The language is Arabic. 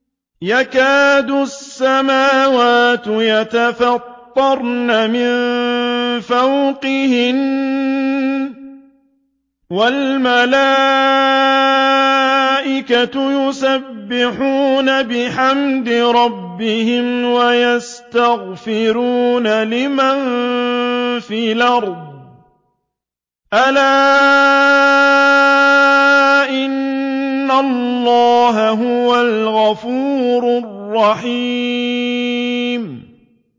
تَكَادُ السَّمَاوَاتُ يَتَفَطَّرْنَ مِن فَوْقِهِنَّ ۚ وَالْمَلَائِكَةُ يُسَبِّحُونَ بِحَمْدِ رَبِّهِمْ وَيَسْتَغْفِرُونَ لِمَن فِي الْأَرْضِ ۗ أَلَا إِنَّ اللَّهَ هُوَ الْغَفُورُ الرَّحِيمُ